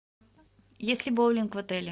есть ли боулинг в отеле